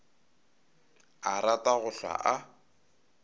a rata go hlwa a